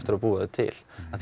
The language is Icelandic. að búa þau til